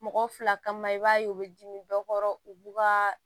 Mɔgɔ fila kama i b'a ye u bɛ dimi dɔ kɔrɔ u b'u kaa